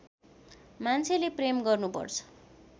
मान्छेले प्रेम गर्नु पर्छ